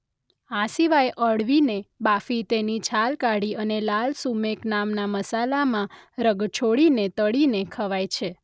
આ સિવાય અળવીને બાફી તેની છાલ કાઢી અને લાલ સુમેક નામના મસાલામાં રગદોળીને તળીને ખવાય છે.